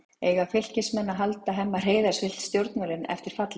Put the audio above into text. Eiga Fylkismenn að halda Hemma Hreiðars við stjórnvölinn eftir fallið?